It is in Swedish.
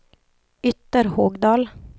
Ytterhogdal